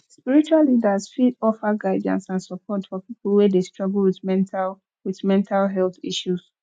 spiritual leaders fit offer guidance and support for people wey dey struggle with mental with mental health issues